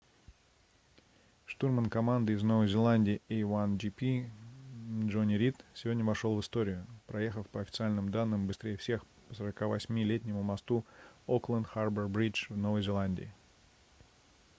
штурман команды из новой зеландии a1gp джонни рид сегодня вошел в историю проехав по официальным данным быстрее всех по 48-летнему мосту окленд харбор бридж в новой зеландии